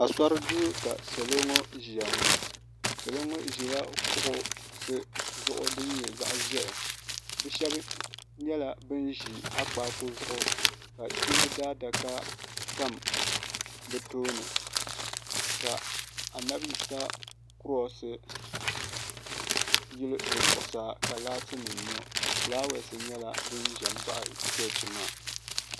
asori do ka salo ŋɔ ʒɛya ŋɔ salo ŋɔ ʒɛla kuɣisi zuɣ di nyɛ zaɣ ʒiɛhi bɛ shɛbi nyɛla bɛni ʒɛ akpaku zuɣ ka kpɛbi daadaka tam be tuuni ka a nabiyisa kurosi yɛli di zuɣ saa ka laati nim yu ƒɔlawasi nyɛla din ʒɛ baɣ' chichi maa